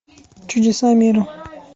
чудеса мира